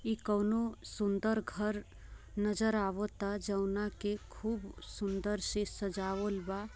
ये कूनो सुंदर घर नजर आवत है जोनके खूब सुंदर से सजावुल बा।